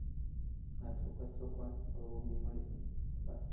હા ચોક્કસ ચાલો કોઈક દિવસ મળીશું આભાર.